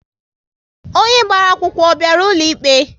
Onye gbara akwụkwọ, ọ bịara ụlọ ikpe?